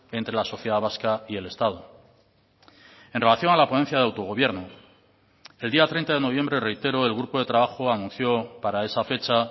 entre la sociedad vasca y el estado en relación a la ponencia de autogobierno el día treinta de noviembre reitero el grupo de trabajo anunció para esa fecha